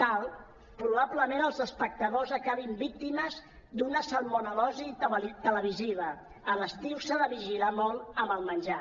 tal probablement els espectadors acabin víctimes d’una salmonel·losi televisiva a l’estiu s’ha de vigilar molt amb el menjar